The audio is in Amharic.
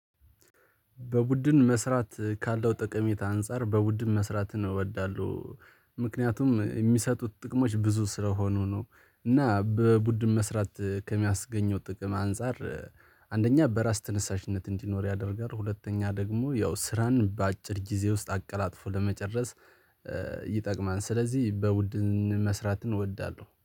በቡድን መስራት ካለው ጠቀሜታ አንፃር በቡድን መስራት እወዳለሁ ምክንያቱም የሚሰጡት ጥቅሞች ብዙ ስለሆኑ ነው። እና በቡድን መስራት ከሚያስገኘው ጥቅም አንፃር አንደኛ በራስ ተነሳሽነት እንዲኖር ያደርጋል። ሁለተኛ ደግሞ ያው ስራን በአጭር ጊዜ ውስጥ አቀላጥፎ ለመጨረስ ይጠቅማል። ስለዚህ በውድን መስራት እወዳለሁ